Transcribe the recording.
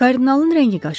Kardinalın rəngi qaçdı.